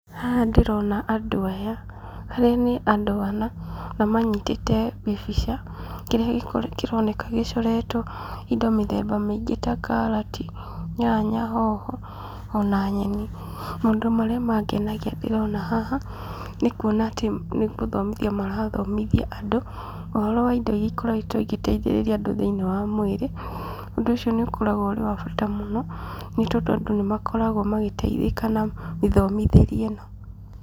Haha ndĩrona andũ aya, arĩa nĩ andũ ana na manyitĩte gĩbica, kĩrĩa kĩroneka gĩcoretwo indo mĩthemba mĩingĩ ta karati, nyanya, hoho ona nyeni. Mũndũ marĩa mangenagia ndĩrona haha, nĩ kuona atĩ nĩ gũthomithia marathomithia andũ, ũhoro wa indo iria ikoretwo igĩteithĩrĩria andũ thĩinĩ wa mwĩrĩ. Ũndũ ũcio nĩ ũkoragwo ũrĩ wa bata mũno, nĩ tondũ andũ nĩ makoragwo magĩteithĩka na mĩthomithĩrie ĩno.